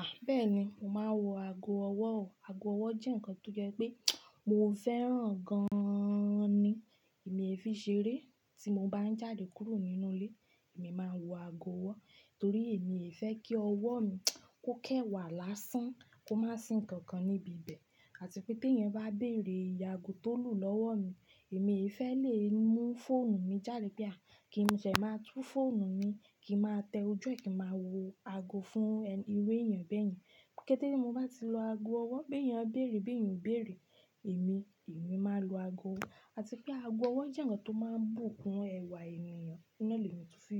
À, bẹ́ẹ̀ni, mo máa ń wọ ago ọwọ́ o. Ago ọwọ́ jẹ́ nǹkan tó jẹ pé mo fẹ́ràn gan-an ni. Èmi ẹ fi ṣeré tí mo bá ń jáde kúrò nínú ilé, èmi máa ń wọ ago ọwọ́ torí èmi ò fẹ́ kí ọwọ́ mi kó kẹwà lásán kó má sin nnkan kan níbi ibẹ̀ àti pé bí èèyàn bá béèrè ìye àgo tó lù lọ́wọ́ mi, èmi ò fẹ́ lè mú fóònù mi jáde pé a kí n sẹ máa tú fóònù mi kí a má tẹ ojú ẹ kí a máa wọ ago fún irú èèyàn bẹ́ẹ̀ yẹn. Kétẹ́ tí mo bá ti lo ago ọwọ́ pé èèyàn béèrè, bí èèyàn béèrè èmi, èmi máa lo ago ọwọ́. Àti pé ago ọwọ́ jẹ́ nǹkan tó máa ń bùkún ẹwà ènìyàn, na lẹ mi tun fi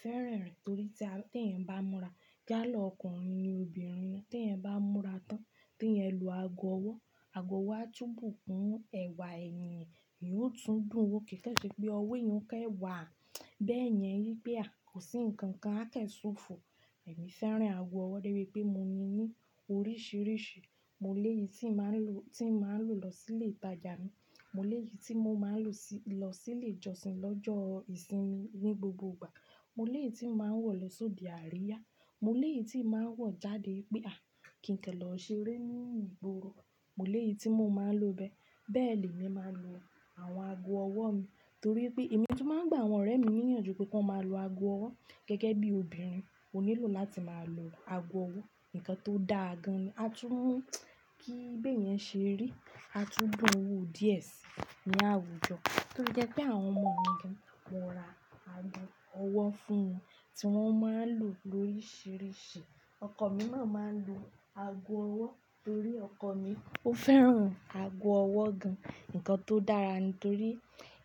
fẹ́ràn rẹ̀ torí tí èèyàn bá múra, yála ọkùnrin ni obìnrin ni tí èèyàn bá múra tán tí ẹyan lo ago ọwọ́, ago ọwọ́ á tú bùkún ẹwà èèyàn, ìyó tún dùn wò kì kan ṣé pé ọwọ́ eyan o kan wà. Bẹ́ẹ̀ yẹn yí pé a kò sí nnkan kan a kan ṣo fò. Èmi fẹ́ràn ago ọwọ́ débi pé mo ní ní oríṣiríṣi, mo lèyí tí mà ń lò, tí mà ń lò lọ sílé ìtajà mi, mo lèyí tí mo máa ń lò lọ sílé ìjọsìn lọ́jọ́ ìsinmi ní gbogbo ìgbà, mo lèyí tí mà ń wọ̀ lọ só de àríyá, mo lèyí tí mà ń wọ̀ jáde pé a kí n kẹ́ lọ ṣeré ní ìgboro, mo lèyí tí mo máa ń lò bẹ́ẹ̀. Bẹ́ẹ̀ lè mi máa ń lo àwọn ago ọwọ́ mi torí pé èmi tó máa ń gbà àwọn ọ̀rẹ́ mi níyànjú pé kí wọ́n máa lo ago ọwọ́ gẹ́gẹ́ bí obìnrin ó nílò láti máa lo ago ọwọ́, nǹkan tó dáa gan-an. A tún mú kí be èyàn ṣe rí, a tún dùn wò díẹ̀ sí ní àwùjọ torí jẹ pé àwọn ọmọ mi gan múra ago ọwọ́ fún mi tí wọ́n máa ń lò lóríṣiríṣi. Ọkọ mi náà máa ń lo ago ọwọ́ torí ọkọ mi ó fẹ́ràn ago ọwọ́ gan. Nǹkan tó dára nítorí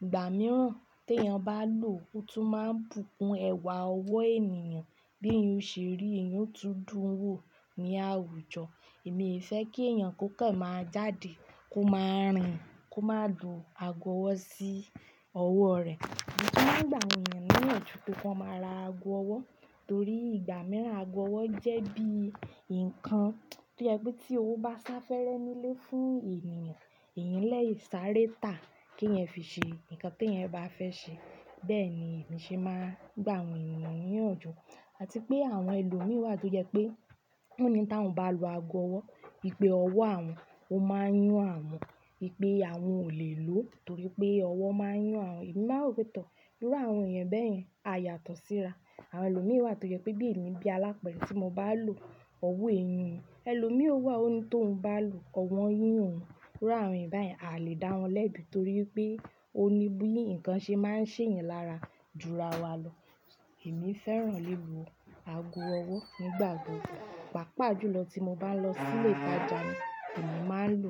ìgbà mìíràn tí èèyàn bá lò ó tún máa ń bùkún ẹwà ọwọ́ èniyàn bí eyan o ṣe rí, ìyó tún dùn wò ní àwùjọ. Èmi ò fẹ́ kí èèyàn kankan máa jáde kó máa rìn kó máa lu ago ọwọ́ sí ọwọ́ rẹ̀. Èmi tó máa ń gbà àwọn èèyàn níyànjú pé kí wọ́n máa ra ago ọwọ́ torí ìgbà mìíràn ago ọwọ́ jẹ́ bí nǹkan to je pé bí owó bá sá fẹ́rẹ nílé fún èèyàn, èyín lè sáré tà kí ẹ fi ṣe nǹkan tí ẹ bá fẹ́ ṣe. Bẹ́ẹ̀ ni èmi ṣe máa ń gbà àwọn èèyàn níyànjú àti pé àwọn ẹlòmí wà tó jẹ pé ó ní tí wọn bá lo ago ọwọ́ wi pé ọwọ́ àwọn ò máa yún àwọn, wi pé àwọn ò lè lò ó torí pé ọwọ́ máa yún àwọn. Ẹ̀mí máa rò pé tọ̀, irú àwọn èèyàn bẹ́ẹ̀ yẹn a yàtọ̀ síra. Àwọn ẹlòmíràn wà tó jẹ pé bí èmi bí alápẹ̀rẹ̀ tí mo bá lò ọwọ́ èyun mi, ẹlòmí o wà ó ní tó ń bá lò ọwọ́ yun oun, irú àwọn èèyàn bẹ́ẹ̀ a lè dá wọn lẹ́bi torí pé ó ní bí nǹkan ṣe máa ń ṣe èèyàn lára dúró àwà lọ. Èmi fẹ́ràn lílò ago ọwọ́ nígbà gbogbo, pàápàá jùlọ tí mo bá ń lọ sílé ìtajà mi, èmi máa ń lò.